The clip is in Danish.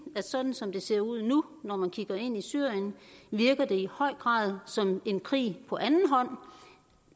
at sådan som det ser ud nu når man kigger ind i syrien virker det i høj grad som en krig på anden hånd